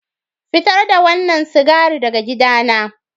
Fitar da wannan sigari daga gidana.